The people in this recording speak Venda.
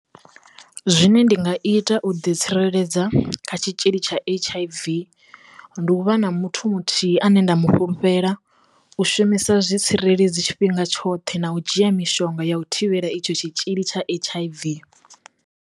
Zwine ndi nga ita u ḓi tsireledza kha tshitzhili tsha H_I_V ndi u vha na muthu muthihi ane nda mu fhulufhela, u shumisa zwitsireledzi tshifhinga tshoṱhe na u dzhia mishonga ya u thivhela itsho tshitzhili tsha H_I_V.